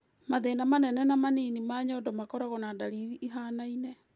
Mathĩĩna manene na manini ma nyondo makoragũo na ndariri ihianaine.